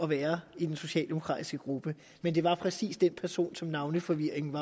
være i den socialdemokratiske gruppe men det var præcis den person som navneforvirringen